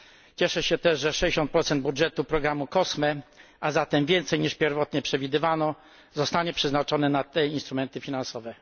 Cieszę się też, że 60 budżetu programu COSME, a zatem więcej niż pierwotnie przewidywano, zostanie przeznaczone na te instrumenty finansowe.